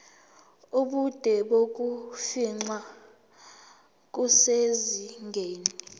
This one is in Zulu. ubude bokufingqa kusezingeni